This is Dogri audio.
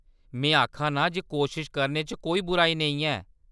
में आखा नां जे कोशश करने च कोई बुराई नेईं ऐ।